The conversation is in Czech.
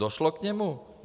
Došlo k němu?